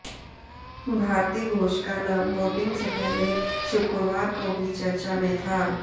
भारती घोष का नाम वोटिंग से पहले शुक्रवार को भी चर्चा में था